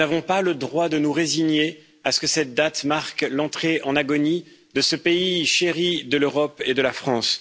Nous n'avons pas le droit de nous résigner à ce que cette date marque l'entrée en agonie de ce pays chéri de l'Europe et de la France.